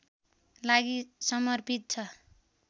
लागि समर्पित छ